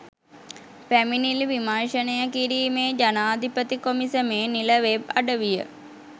පැමිණිලි විමර්ශනය කිරීමේ ජනාධිපති කොමිසමේ නිල වෙබ් අඩවිය